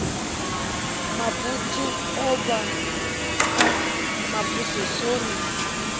mabutswu avho a mabuse sori